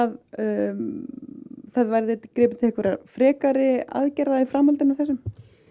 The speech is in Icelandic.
það verði gripið til frekari aðgerða í framhaldi af þessum